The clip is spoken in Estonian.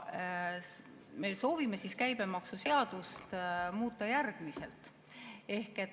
Me soovime käibemaksuseadust muuta järgmiselt.